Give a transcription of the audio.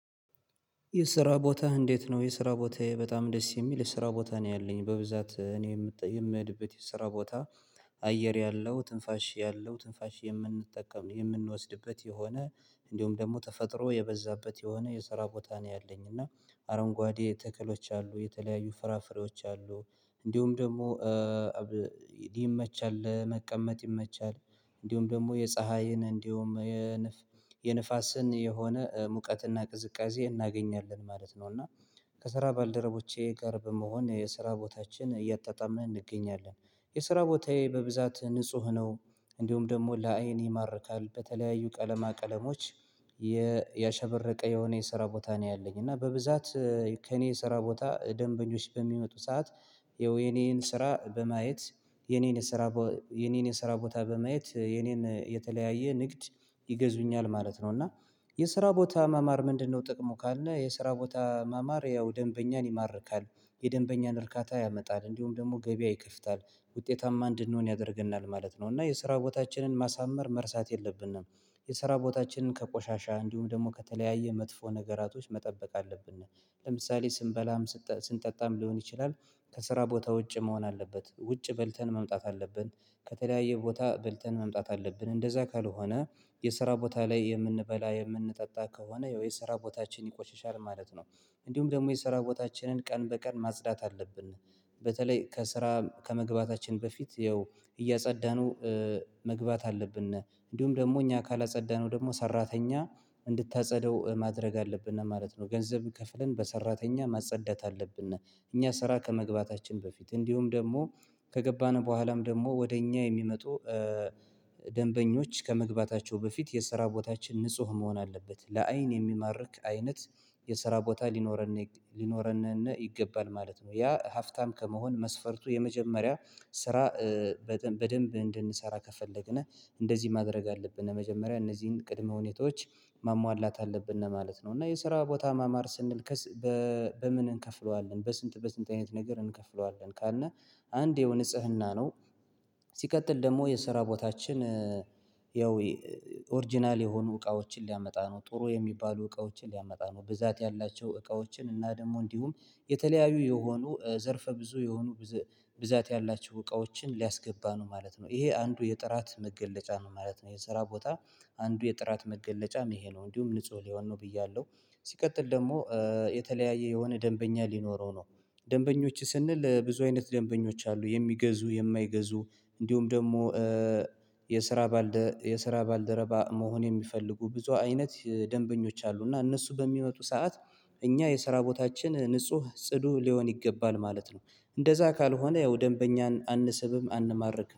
የስራ ቦታህ እንዴት ነው የስራ ቦታዬ በጣም ደስ የሚል የስራ ቦታ ነው ያለኝ በብዛት እኔ የምሄድበት የስራ ቦታ። አየር ያለው ትንፋሽ ያለው ትንፋሽ የምንጠቀም የምንወስድበት የሆነ እንዲሁም ደግሞ ተፈጥሮ የበዛበት የሆነ የሰራ ቦታ ነው ያለኝ። እና አረንጓዴ ተክሎች አሉ የተለያዩ ፍራፍሬዎች አሉ እንዲሁም ደግሞ ይመቻል ለመቀመጥ ይመቻል። እንዲሁም ደግሞ የፀሀይን እንዲሁም የንፋስን የሆነ ሙቀትና ቅዝቃዜ እናገኛለን ማለት ነው። እና ከስራ ባልደረቦቼ ጋር በመሆን የስራ ቦታችን እያጣጣምን እንገኛለን። የስራ ቦታዬ በብዛት ንጹህ ነው። እንዲሁም ደግሞ ለአይን ይማርካል በተለያዩ ቀለማ ቀለሞች ያሸበረቀ የሆነ የስራ ቦታ ነው ያለኝ። እና በብዛት ከእኔ የስራ ቦታ ደንበኞች በሚመጡ ሰዓት ይኸው የኔን ስራ በማየት የኔን የስራ የኔን የስራ ቦታ በማየት የኔን የተለያየ ንግድ ይገዙኛል ማለት ነው። እና የስራ ቦታ መማር ምንድነው? ጥቅሙ ካለ የስራ ቦታ መማር ያው ደንበኛን ይማርካል። የደንበኛን እርካታ ያመጣል እንዲሁም ደግሞ ገበያ ይከፍታል ውጤታማ እንድንሆን ያደርገናል ማለት ነው። እና የስራ ቦታችንን ማሳመር መርሳት የለብንም። የስራ ቦታችንን ከቆሻሻ እንዲሁም ደግሞ ከተለያየ መጥፎ ነገራቶች መጠበቅ አለብን። ለምሳሌ ስንበላም ስንጠጣም ሊሆን ይችላል። ከስራ ቦታ ውጭ መሆን አለበት ውጭ በልተን መምጣት አለብን። ከተለያየ ቦታ በልተን መምጣት አለብን እንደዛ ካልሆነ የስራ ቦታ ላይ የምንበላ የምንጠጣ ከሆነ ያው የስራ ቦታችን ይቆሽሻል ማለት ነው። እንዲሁም ደግሞ የስራ ቦታችንን ቀን በቀን ማጽዳት አለብን። በተለይ ከስራ ከመግባታችን በፊት ያው እያጸዳነው መግባት አለብን። እንዲሁም ደግሞ እኛ ካላጸዳነው ደግሞ ሰራተኛ እንድታጸደው ማድረግ አለብን ማለት ነው ገንዘብ ከፍለን በሰራተኛ ማጸዳት አለብን። እኛ ስራ ከመግባታችን በፊት እንዲሁም ደግሞ ከገባን በኋላም ደግሞ ወደ እኛ የሚመጡ ደንበኞች ከመግባታቸው በፊት የሰራ ቦታችን ንጹህ መሆን አለበት። ለአይን የሚማርክ አይነት የሰራ ቦታ ሊኖረንን ሊኖረንን ይገባል ማለት ነው። ያ ሀብታም ከመሆን መስፈርቱ የመጀመሪያ ስራ። በደንብ እንድንሰራ ከፈለግን እንደዚህ ማድረግ አለብን መጀመሪያ እነዚህን ቅድመ ሁኔታዎች ማሟላት አለብን ነው ማለት ነው። እና የስራ ቦታ ማማር ስንል። በምን እንከፍለዋለን በስንት በስንት አይነት ነገር እንከፍለዋለን ካልነ? አንድ ይኸው ንጽህና ነው። ሲቀጥል ደግሞ የስራ ቦታችን ያው ኦሪጅናል የሆኑ እቃዎችን ሊያመጣ ነው ጥሩ የሚባሉ እቃዎችን ሊያመጣ ነው ብዛት ያላቸው እቃዎችን እና ደግሞ እንዲሁም የተለያዩ የሆኑ ዘርፈ ብዙ የሆኑ ብዛት ያላቸው እቃዎችን ሊያስገባ ነው ማለት ነው። ይሄ አንዱ የጥራት መገለጫ ነው ማለት ነው። የሰራ ቦታ አንዱ የጥራት መገለጫም ይሄ ነው እንዲሁም ንጹህ ሊሆን ነው ብያለሁ። ሲቀጥል ደግሞ የተለያየ የሆነ ደንበኛ ሊኖረው ነው። ደንበኞች ስንል ብዙ አይነት ደንበኞች አሉ የሚገዙ የማይገዙ እንዲሁም ደግሞ የስራ የስራ ባልደረባ መሆን የሚፈልጉ ብዙ አይነት ደንበኞች አሉ። እና እነሱ በሚመጡ ሰዓት እኛ የሰራ ቦታችን ንጹህ ጽዱ ሊሆን ይገባል ማለት ነው። እንደዛ ካልሆነ ያው ደንበኛን አንስብም አንማርክም